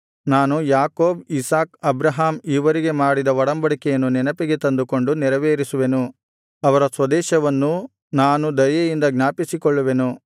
ನಾನು Jacob Isaac Abraham ಇವರಿಗೆ ಮಾಡಿದ ಒಡಂಬಡಿಕೆಯನ್ನು ನೆನಪಿಗೆ ತಂದುಕೊಂಡು ನೆರವೇರಿಸುವೆನು ಅವರ ಸ್ವದೇಶವನ್ನೂ ನಾನು ದಯೆಯಿಂದ ಜ್ಞಾಪಿಸಿಕೊಳ್ಳುವೆನು